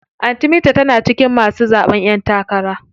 Anty binta tana cikin masu zaɓen ƴen takara.